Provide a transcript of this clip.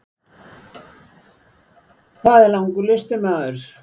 Það er langur listi maður.